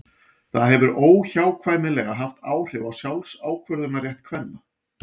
það hefur óhjákvæmilega haft áhrif á sjálfsákvörðunarrétt kvenna